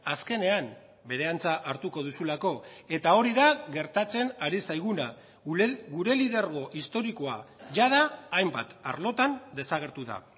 azkenean bere antza hartuko duzulako eta hori da gertatzen ari zaiguna gure lidergo historikoa jada hainbat arlotan desagertu da